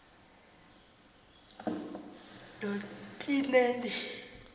notinendi